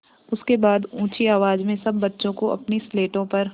उसके बाद ऊँची आवाज़ में सब बच्चों को अपनी स्लेटों पर